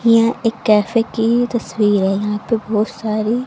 यह एक कैफे की तस्वीर है यहां पे बहोत सारी--